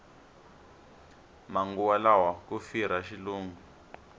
manguva lawa ku firha xilungu